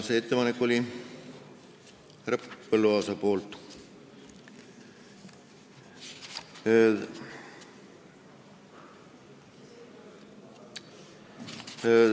" See oli härra Põlluaasa ettepanek.